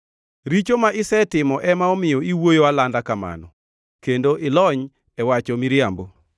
Richo ma isetimo ema omiyo iwuoyo alanda kamano; kendo ilony e wacho miriambo.